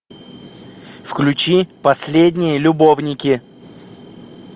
включи последние любовники